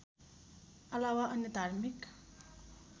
अलावा अन्य धार्मिक